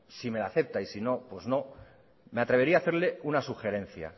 si me la acepta y si no pues no me atrevería a hacerle una sugerencia